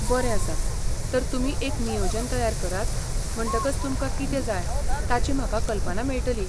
बरें आसा, तर तुमी एक नियोजन तयार करात म्हणटकच तुमकां कितें जाय ताची म्हाका कल्पना मेळटली.